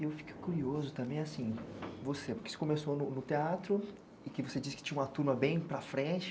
Eu fico curioso também assim, você, porque você começou no teatro e que você disse que tinha uma turma bem para frente,